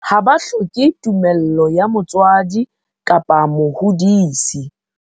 Ha ba hloke tumello ya motswadi kapa mohodisi.